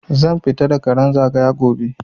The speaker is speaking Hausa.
Zan fita da karan zagaya gobe